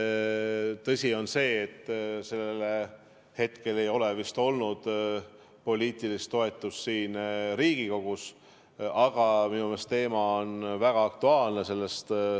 Tõsi on see, et hetkel ei ole vist olnud poliitilist toetust siin Riigikogus, aga minu meelest on teema väga aktuaalne.